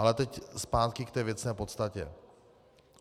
Ale teď zpátky k té věcné podstatě.